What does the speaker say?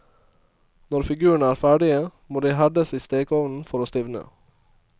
Når figurene er ferdige, må de herdes i stekeovnen for å stivne.